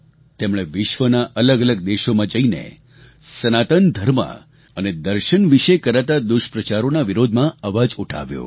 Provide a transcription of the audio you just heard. તેમણે વિશ્વના અલગઅલગ દેશોમાં જઈને સનાતન ધર્મ અને દર્શન વિશે કરાતા દુષ્પ્રચારોના વિરોધમાં અવાજ ઉઠાવ્યો